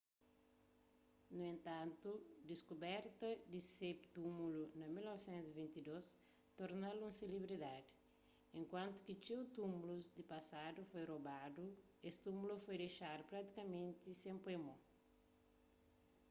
nu entantu diskuberta di se túmulu na 1922 torna-l un selebridadi enkuantu ki txeu túmulus di pasadu foi robadu es túmulu foi dexadu pratikamenti sen poi mo